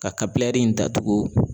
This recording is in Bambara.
Ka in datugu.